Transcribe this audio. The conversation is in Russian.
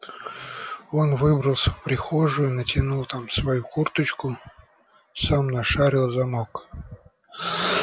он выбрался в прихожую натянул там свою курточку сам нашарил замок